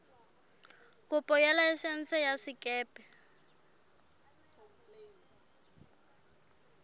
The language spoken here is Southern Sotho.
kopo ya laesense ya sekepe